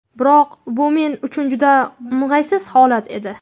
Biroq bu men uchun juda o‘ng‘aysiz holat edi.